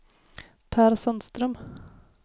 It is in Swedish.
Pär Sandström